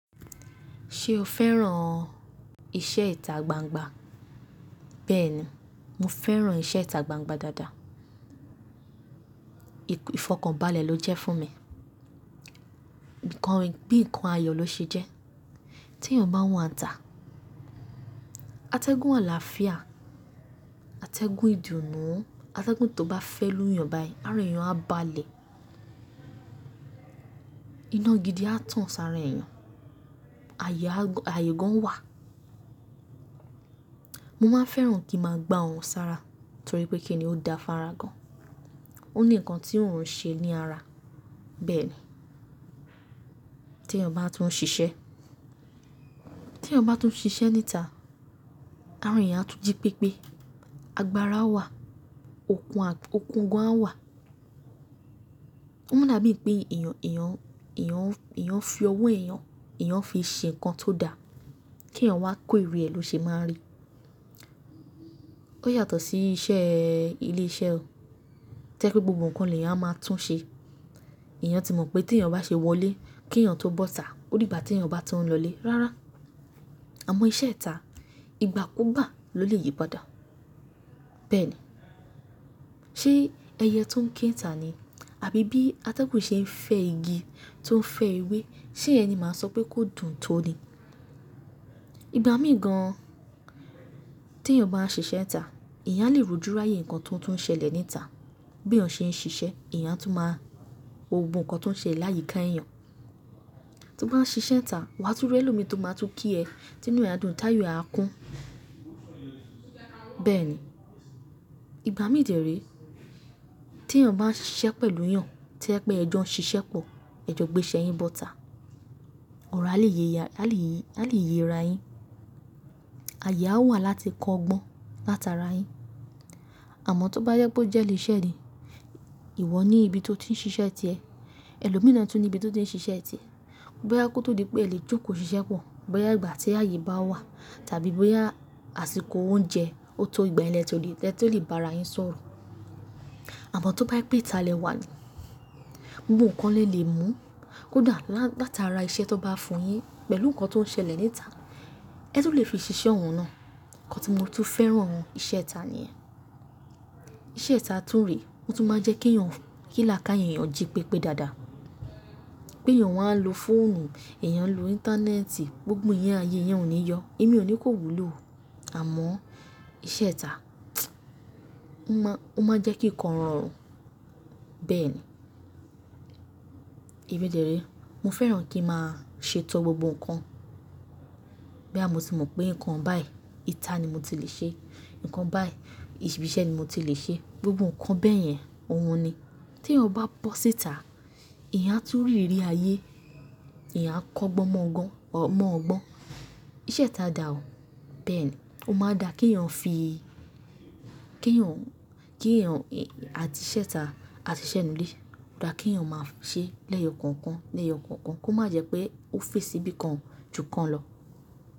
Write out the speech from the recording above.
Ṣé o fẹ́ràn iṣẹ́ ìta gbangba? Bẹ́ẹ̀ni, mo fẹ́ràn iṣẹ́ ìta gbangba dáadáa. Ìfọkànbalẹ̀ ló jẹ́ fún mi. Nǹkan gbí nǹkan ayọ̀ ló ṣe jẹ́. Tí èèyàn bá wànta, atẹ́gùn àlàáfíà, atẹ́gùn ìdùnnú, atẹ́gùn tó bá fẹ́ lù yàn báyìí, ara èèyàn á balẹ̀. Iná gidi á tàn sára èèyàn, àyè gan wà. Mo máa fẹ́ràn kí a máa gbá òrùn sára torí pé kí ni o da fún ara gan. Ó ní ǹkan tí òrùn ń ṣe ní ara. Bẹ́ẹ̀ni, tí èèyàn bá tún ń ṣiṣẹ́, tí èèyàn bá tún ń ṣiṣẹ́ níta, ara èèyàn á tún jí pépé, agbára á wà, okun gan á wà. Ó mọ́ n dàbí i pé èèyàn fi ọwọ́ èèyàn, èèyàn fi ṣe ǹkan tó da, kí èèyàn wá kó èrè ẹ̀ ló ṣe máa n rí. Ó yàtọ̀ sí iṣẹ́ ilé iṣẹ́ o. Jẹ́ pé gbogbo ǹkan lèàn á máa tún ṣe. Ẹ̀yàn ti mọ̀ pé tí èèyàn bá ṣe wọlé, kí èèyàn tó bọ́ tà ó dìgbà tí èèyàn bá tún ń lọlé. Rárá, àmọ́ iṣẹ́ ìta, ìgbàkúgbà ló lè yí padà. Bẹ́ẹ̀ni, ṣe ẹyẹ tó ń ké ìta ni àbí bí atẹ́gùn ṣe ń fẹ́ igi tó ń fẹ́ ewé ṣe yẹn ni màá sọ pé kó dùn tó ni. Ìgbà mí gan tí èèyàn bá ń ṣiṣẹ́ nta, èyàn á lè rójúráyè ǹkan tó tún ń ṣẹlẹ̀ níta. Bí èèyàn ṣe ń ṣiṣẹ́, ìyá tún máa wo gbogbo ǹkan tó ń ṣelè láyìkáá èèyàn. Tí o bá ń ṣiṣẹ́ nta, wà á tún rí ẹlòmí tó máa tún kí ẹ, tí inú ẹ á dùn táyọ̀ ẹ á kún. Bẹ́ẹ̀ni, ìgbà mí dẹ̀ ré tí èèyàn bá ń ṣiṣẹ́ pẹ̀lú èyàn, tó jẹ́ pé ẹ jọ ń ṣiṣẹ́ pọ̀, ẹ jọ gbé iṣẹ́ yín bọ́ta, ọ̀rọ̀ á lè yéra yín, àyè a wà láti kọ́ ọgbọ́n látara yín. Àmọ́ tó bá yẹ pé ó jẹ́ ilé iṣẹ́ ni, ìwọ ní ibi tó ti ń ṣiṣẹ́ tì ẹ, ẹlòmíí náà tún ní ibi tó ti ń ṣiṣẹ́ tì ẹ. Bóyá kó tó di pé ẹ lè jókòó ṣiṣẹ́ pọ̀, bóyá ìgbà tí àyè bá wà tàbí bóyá àsìkò oúnjẹ, ó tó ìgbà yẹn lẹ tó lè bá ara yín sọ̀rọ̀. Àmọ́ tó bá jẹ pé ìta lẹ wà ni, gbogbo ǹkan lè lè mú kódà látara iṣẹ́ tí wọ́n bá fún yín pẹ̀lú ǹkan tó ń ṣẹlẹ̀ níta, ẹ tún lè fi ṣiṣẹ́ òun náà. Ǹkan tí mo tún fẹ́ràn nínu ìṣẹ́ ìta nìyẹn Ìṣe ìta tún rè, ó tún máa jẹ́ kí láka ìyẹn èèyàn jí pépé dáadáa. Pé èèyàn wá ń lo fóònù, èèyàn ń lo íńtánẹ́ẹ̀tì, gbogbo ìyẹn ayé ìyẹn ò ní yọ. Èmi ò ní kó wúlò o àmọ́ iṣẹ́ ìta, ó máa n jẹ́ kí ǹkan rọrùn. Bẹ́ẹ̀ni. Èmi dẹ̀ ré, mo fẹ́ràn kí n máa ṣètò gbogbo ǹkan. Bóyá mo ti mọ̀ pé ǹkan báyìí, ìta ni mo ti lè ṣe, ǹkan báyìí, ibi iṣẹ́ ni mo ti lè ṣe. Gbogbo ǹkan bẹ́yẹn, òun ni. Tí èèyàn bá bọ́ síta, èyàn á tún rí ìrí ayé, èyàn á kọ́ ọgbọ́n mọ́ ọgbọ́n. Ìṣe ìta dà o. Bẹ́ẹ̀ni, ó máa n dà kí èèyàn fi kí èèyàn àti ìṣe ìta àti ìṣe inú ilé, ó dà kí èèyàn máa ṣe lẹ́yọ kọ̀ọ̀kan lẹ́yọ kọ̀ọ̀kan kó má jẹ́ pé ó fì sí ibi kan jù kan lọ.